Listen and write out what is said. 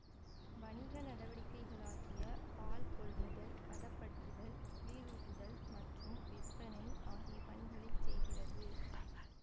வணிக நடவடிக்கைகளாகிய பால் கொள்முதல் பதப்படுத்துதல் குளிரூட்டுதல் மற்றும் விற்பனை ஆகிய பணிகளை செய்கிறது